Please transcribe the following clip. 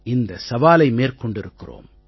இந்த சவாலை மேற்கொண்டிருக்கிறோம்